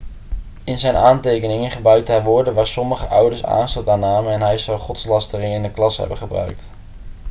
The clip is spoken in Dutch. in zijn aantekeningen gebruikte hij woorden waar sommige ouders aanstoot aan namen en hij zou godslastering in de klas hebben gebruikt